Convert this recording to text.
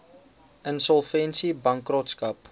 insolvensiebankrotskap